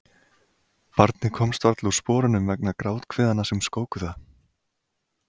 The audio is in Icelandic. Barnið komst varla úr sporunum vegna gráthviðanna sem skóku það.